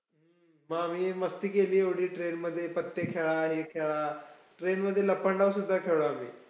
हम्म मग आम्ही मस्ती केली एवढी train मध्ये. पत्ते खेळ हे खेळा, train मध्ये लपंडावसुद्धा खेळला आम्ही.